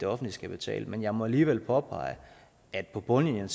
offentlige skal betale men jeg må alligevel påpege at det på bundlinjen